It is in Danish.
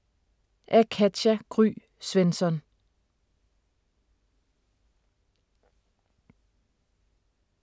Af Katja Gry Svensson